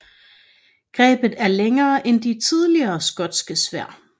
Grebet er længere end de tidligere skotske sværd